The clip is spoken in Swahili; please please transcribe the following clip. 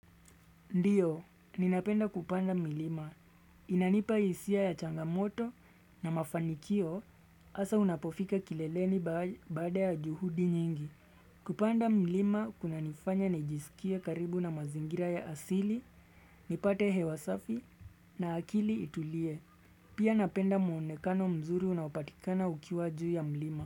Ndiyo, ninapenda kupanda milima. Inanipa hisia ya changamoto na mafanikio hasa unapofika kileleni baada ya juhudi nyingi. Kupanda milima kunanifanya nijisikie karibu na mazingira ya asili, nipate hewa safi na akili itulie. Pia napenda muonekano mzuri unaopatikana ukiwa juu ya milima.